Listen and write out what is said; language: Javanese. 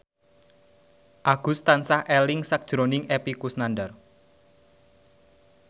Agus tansah eling sakjroning Epy Kusnandar